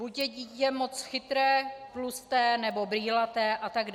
Buď je dítě moc chytré, tlusté nebo brýlaté atd.